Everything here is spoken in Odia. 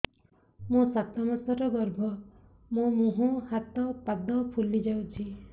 ମୋ ସାତ ମାସର ଗର୍ଭ ମୋ ମୁହଁ ହାତ ପାଦ ଫୁଲି ଯାଉଛି